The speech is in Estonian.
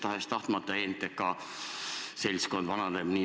Tahes-tahtmata NTK seltskond vananeb.